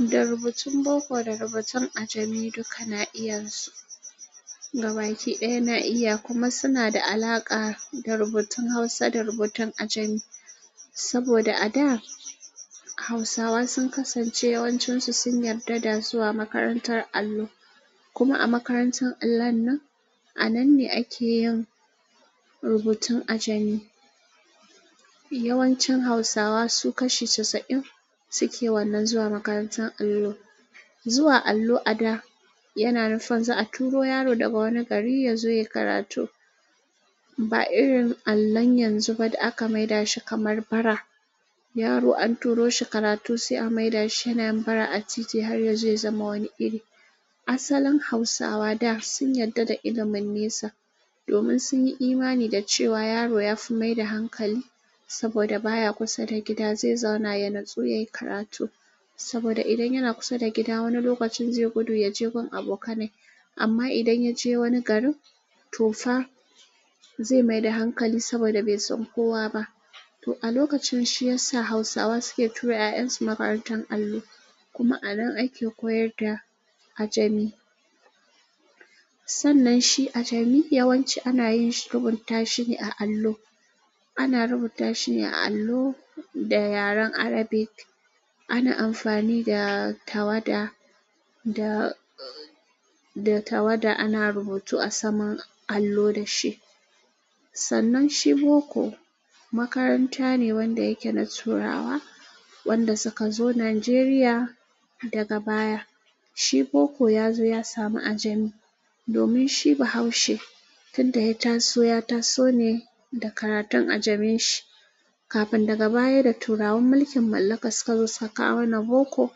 Rubutun boko da rubutun ajami duka na iya su. Gabakiɗaya na iya kuma suna da alaƙa da rubutun hausa da rubutun ajami. Saboda a da hausawa sun kasance yawancinsu sun yarda da zuwa makarantar allo. Kuma a makarantar allon nan a nan ne ake yin rubutun ajami. Yawancin hausawa su kashi casa'in suke wannan zuwa makarantar allo. Zuwa allao a daa, yana nufin za a turo yaro daga wani gari ya zo yayi karatu ba irin allon yanzu ba da aka maida shi kamar bara. Yaro an turo shi karatu sai a maida shi yanayin bara a titi har ya je zama wani iri. Asalin hausawa da sun yarda da ilimin nesa domin sun yi imani da cewa yaro ya fi maida hankali saboda baya kusa da gida zai zauna ya natsu yayi karatu. Saboda idan yana kusa da gida wani lokacin zai gudu ya je gun abokanai. Amma idan ya je wani garin to fa zai maida hankali saboda bai san kowa ba. To a lokacin shi ya sa hausawa suke tura 'ya'yansu makarantar allo. Kuma a nan ake koyar da ajami. Sannan shi ajami yawanci ana yin rubuta shi ne a allo. Ana rubuta shi ne a allo da yaren arabic. Ana amfani da tawada da tawada ana rubutu a saman allo da shi. Sannan shi boko makaranta ne wanda yake na turawa wanda suka zo nigeria daga baya. Shi boko ya zo ya samu ajami domin shi bahaushe tun da ya taso ya taso ne da karatun ajaminshi. Kafin daga baya da turawan mulkin mallaka suka zo suka kawo na boko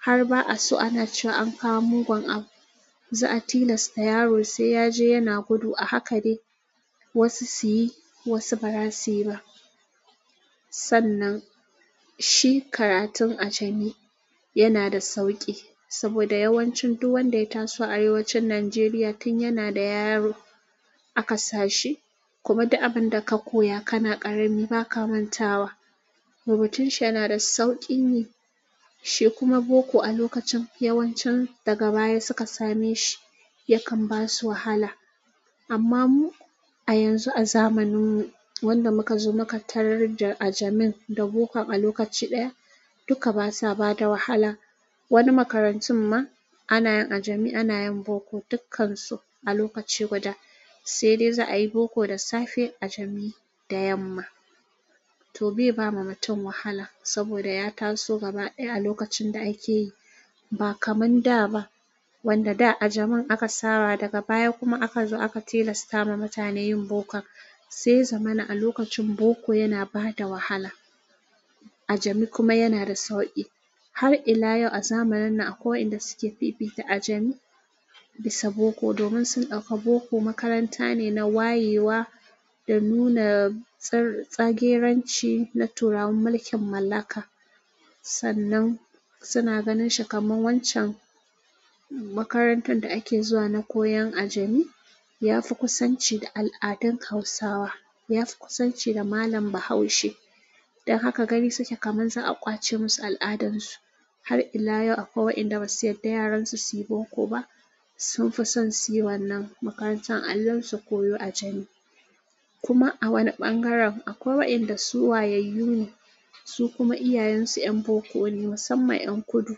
har ba'a so ana cewa an kawo mugun abu. Za a tilasta yaro sai ya je yana gudu a haka dai wasu su yi wasu ba za su yi ba. Sannan shi karatun ajami yana da sauƙi saboda yawancin duk wanda ya taso a arewacin nigeria tun yana da yaro aka sa shi. Kuma duk abin da ka koya kana ƙarami ba ka mantawa. Rubutun shi yana da sauƙin yi shi kuma boko a lokacin yawancin daga baya suka same shi yakan ba su wahala. Amma mu a yanzu a zamanin wanda muka zo muƙa tarar da ajamin da bokan a lokaci ɗaya duka basa bada wahala. Wani makarantun ma ana yin ajami ana yin boko dukkansu a lokaci guda. Sai dai za a yi boko da safe ajami da yamma. To bai ba ma mutum wahala saboda ya taso gaba ɗaya a lokacin da ake yi ba kaman da ba. Wanda da ajamin aka saba daga baya kuma aka zo aka tilasta ma mutane yin bokon sai ya zamana a lokacin boko yana bada wahala. Ajami kuma yana da sauƙi. Har ila yau a zamanin nan akwai wa'enda suke fifita ajami bisa boko, domin sun ɗauka boko makranta ne na waye wa da nuna sageranci na turawan mulkin mallaka sannan suna ganin shi kamar wancan makarantar da ake zuwa na koyan ajami. Ya fi kusanci da al'adun hausawa. Ya fi kusanci da malam bahaushe. Don haka gani suke kaman za a ƙwace musu al'adan su. Har ila yau akwai wa'enda basu yarda yaran su su yi boko ba. Sun fi son suyi wannan makarantar allon su koyo ajami. Kuma awani ɓangaren, akwai waɗanda su wayayyune, su kuma iyayensu ƴan boko ne musamman ma ƴan kudu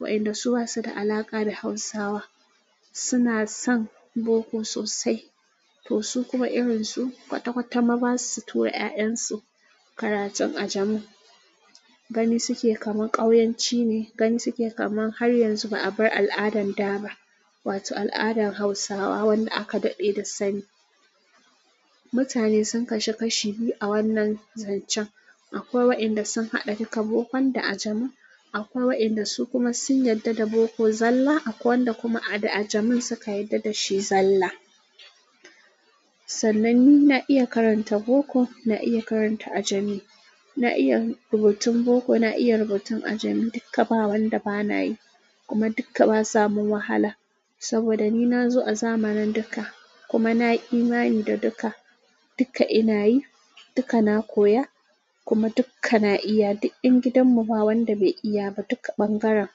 wa'enda su basu da alaƙa da hausawa suna son boko sosai. To su kuma irin su kwata-kwata ma basu tura 'ya'yan su karatun ajami. Gani suke kaman ƙauyenci ne gani suke kaman har yanzu ba a bar al'adan da ba. Wato al'adan hausawa wanda aka daɗe da sani. Mutane sun kasu kashi biyu a wannan zancen. Akwai wa'enda sun haɗa duka boko da ajami. Akwai wa'enda su kuma sun yarda da boko zalla akwai waɗanda kuma da ajamin suka yarda da shi zalla. Sannan ni na iya karanta boko na iya karanta ajami. Na iya rubutun boko na iya rubutun ajami duka ba wanda ba na yi. Kuma duka ba su ban wahala saboda ni na zo a zamanin duka. Kuma na yi imani da duka. Duka ina yi duka na koya kuma duka na iya. Duk ƴan gidan mu ba wanda bai iya ba duka ɓangaren.